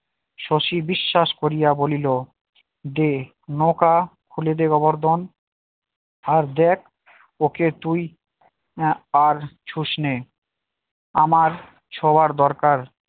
শশী বিশ্বাস করিয়া বলিল দে নৌকা খুলে দে গোবর্ধন আর দেখ ওকে তুই আর ছুসনে আমার ছোঁয়ার দরকার